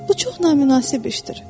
Bu çox naminansib işdir.